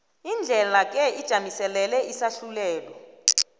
indlelake ijamiselele isahlulelo